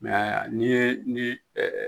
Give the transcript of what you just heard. Mɛ n'i ye ni